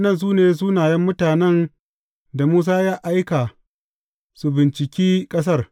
Waɗannan su ne sunayen mutanen da Musa ya aika su binciki ƙasar.